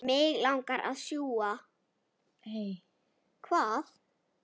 Þau vildu bara tala sjálf.